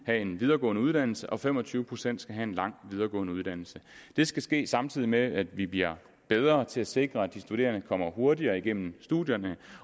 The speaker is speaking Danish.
have en videregående uddannelse og fem og tyve procent skal have en lang videregående uddannelse det skal ske samtidig med at vi bliver bedre til at sikre at de studerende kommer hurtigere igennem studierne